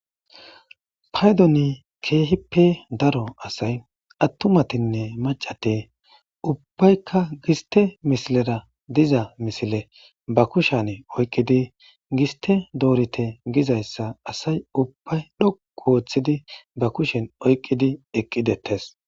paydoni keehippe daro asay attumatinne macate ubbaykka giste misilera diza misile ba kushene oyqqidi giste doorite gizayssa asay ubbay dhoqu wooththidi ba kushen oyqqidi eqqidettes